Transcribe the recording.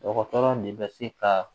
Dɔgɔtɔrɔ de bɛ se ka